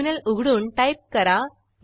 terminal उघडून type करा